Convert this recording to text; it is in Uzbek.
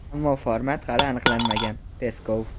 ammo format hali aniqlanmagan – Peskov.